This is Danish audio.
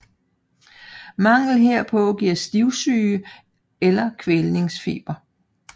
Mangel herpå giver stivsyge eller kælvningsfeber